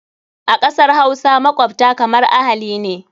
A ƙasar Hausa, makwabta kamar ahali ne.